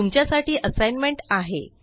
तुमच्यासाठी असाइनमेंट आहे